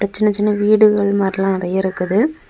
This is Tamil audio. சின்ன சின்ன வீடுகள் மாறியெல்லாம் நெறய இருக்குது.